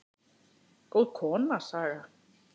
Góð kona, Saga.